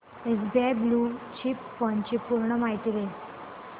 SBI blue chip fund ची पूर्ण माहिती दे